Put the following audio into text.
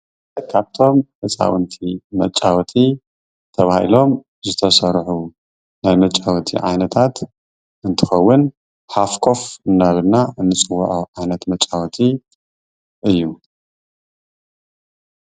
ካብቶም ህፃዉንቲ መጫወቲ ተባሂሎም ዝተሰርሑ ናይ መጫወቲ ዓይነታት እንትኸውን ሓፍ ኮፍ እናበልና ንፅወዖ ዓይነት መፃወቲ እዪ።